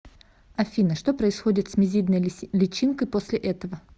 афина что происходит с мизидной личинкой после этого